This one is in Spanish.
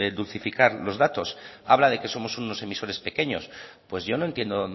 de dulcificar los datos habla de que somos unos emisores pequeños pues yo no entiendo